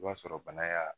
I b'a sɔrɔ bana y'a